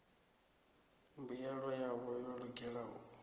mbuyelo yavho yo lugela u